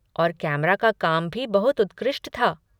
और कैमरा का काम भी बहुत उत्कृष्ट था।